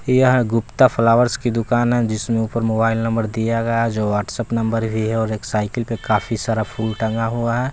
यहां गुप्ता फ्लावर्स की दुकान है जिसमें ऊपर मोबाइल नंबर दिया गया है जो व्हाट्सएप नंबर भी है एक साइकिल पे काफी सारा फुल टंगा हुआ है।